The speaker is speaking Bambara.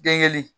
Den